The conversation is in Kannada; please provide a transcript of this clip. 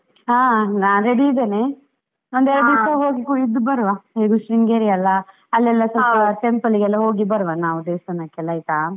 ಆ ನಾ ರೆಡಿ ಇದ್ದೇನೆ ಎರಡು ದಿನ ಹೋಗಿ ಇದ್ದು ಬರುವ ಹೇಗೂ ಶೃಂಗೇರಿ ಅಲಾ, ಎಲ್ಲ ಸ್ವಲ್ಪ temple ಗೆ ಎಲ್ಲ ಹೋಗಿ ಬರುವ ನಾವು ದೇವಸ್ಥಾನಕ್ಕೆ ಎಲ್ಲ ಆಯ್ತಾ.